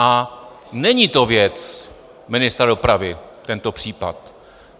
A není to věc ministra dopravy, tento případ.